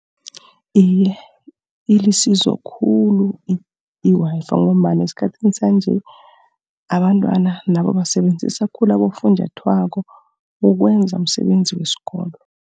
Iye, ilisizo khulu i-Wi-Fi ngombana esikhathini sanje, abantwana nabo basebenzisa khulu abofunjathwako ukwenza umsebenzi wesikolo.